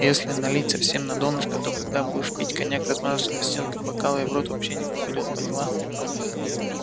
если налить совсем на донышко то когда будешь пить коньяк размажется по стенкам бокала и в рот вообще не попадёт поняла